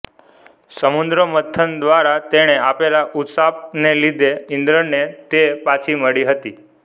સમુદ્રમંથન દ્વારા તેણે આપેલા ઉશાપને લીધે ઇન્દ્રને તે પાછી મળી હતી